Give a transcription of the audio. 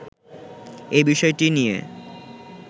এই বিষয়টি নিয়ে